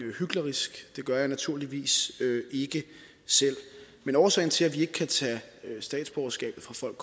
hyklerisk det gør jeg naturligvis ikke selv men årsagen til at vi ikke kan tage statsborgerskabet fra folk